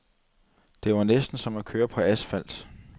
Det var næsten som at køre på asfalt.